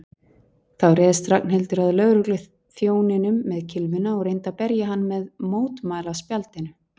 Þá réðst Ragnhildur að lögregluþjóninum með kylfuna og reyndi að berja hann með mótmælaspjaldinu.